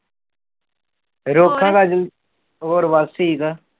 ਰੋਕਾਂਗਾ ਹੋਰ ਬਸ ਠੀਕ।